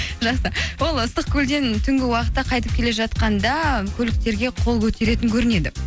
жақсы ол ыстық көлден түнгі уақытта қайтып келе жатқанда көліктерге қол көтеретін көрінеді